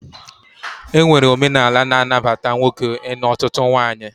E nwere omenala na-anabata nwoke ịnụ ọtụtụ nwaanyị